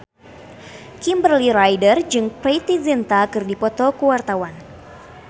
Kimberly Ryder jeung Preity Zinta keur dipoto ku wartawan